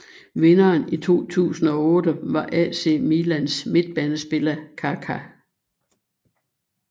Vinderen i 2008 var AC Milans midtbanespiller Kaká